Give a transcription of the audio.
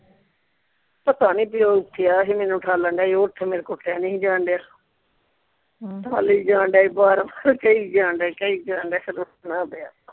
ਪਤਾ ਨਹੀਂ ਬੀ ਓਹ ਕਿਹਾ ਸੀ ਮੈਨੂ ਉਠਾਲਨ ਡਯਾ ਸੀ ਉਠ ਮੇਰੇ ਕੋਲੋਂ ਉੱਠਿਆ ਨਹੀਂ ਸੀ ਜਾਣ ਡਯਾ ਹਮ ਉਠਾਲੀ ਜਾਣ ਡਯਾ ਸੀ ਬਾਰ ਬਾਰ ਕਹੀ ਜਾਣ ਡਯਾ ਸੀ ਕਹੀ ਜਾਣ ਡਯਾ ਸੀ ਫੇਰ ਉਠਣਾ ਪਿਆ